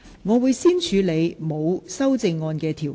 我會先處理沒有修正案的條文。